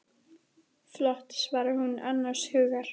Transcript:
Flott, svarar hún annars hugar.